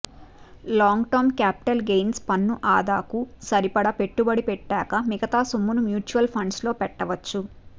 long term capital గెయిన్స్లో పన్ను ఆదాకు సరిపడా పెట్టుబడి పెట్టాక మిగతా సొమ్మును మ్యూచువల్ ఫండ్లలో పెట్టవచ్చు